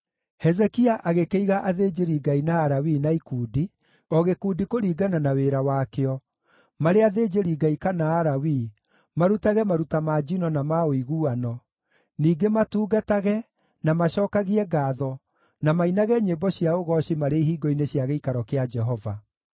Hezekia agĩkĩiga athĩnjĩri-Ngai na Alawii na ikundi, o gĩkundi kũringana na wĩra wakĩo, marĩ athĩnjĩri-Ngai kana Alawii, marutage maruta ma njino na ma ũiguano, ningĩ matungatage, na macookagie ngaatho, na mainage nyĩmbo cia ũgooci marĩ ihingo-inĩ cia gĩikaro kĩa Jehova.